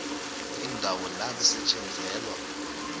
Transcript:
indawo la kusetjenzelwa